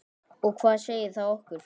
Og hvað segir það okkur?